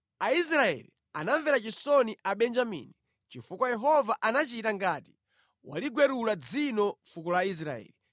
Aisraeli anamvera chisoni Abenjamini, chifukwa Yehova anachita ngati waligwerula dzino fuko la Israeli.